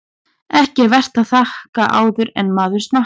Ekki er vert að þakka áður en maður smakkar.